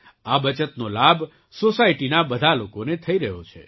આ બચતનો લાભ સૉસાયટીના બધા લોકોને થઈ રહ્યો છે